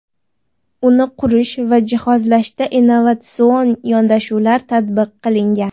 Uni qurish va jihozlashda innovatsion yondashuvlar tatbiq qilingan.